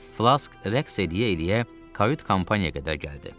Flask rəqs edə-edə kayut kompaniyaya qədər gəldi.